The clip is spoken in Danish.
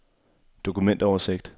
dokumentoversigt